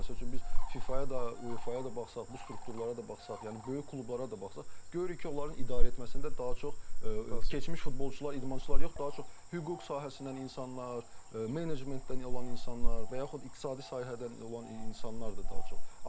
Məsəl üçün biz FİFA-ya da, UEFA-ya da baxsaq, bu strukturlara da baxsaq, yəni böyük klublara da baxsaq, görürük ki, onların idarə etməsində daha çox keçmiş futbolçular, idmançılar yox, daha çox hüquq sahəsindən insanlar, menecmentdən olan insanlar, və yaxud iqtisadi sahədən olan insanlardır daha çox.